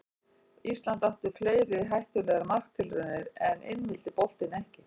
Ísland átti fleiri hættulegar marktilraunir en inn vildi boltinn ekki.